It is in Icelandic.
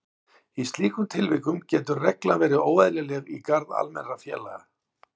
Í slíkum tilvikum getur reglan verið óeðlileg í garð almennra félaga.